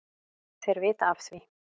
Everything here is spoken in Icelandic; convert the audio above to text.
Þeir vita af því,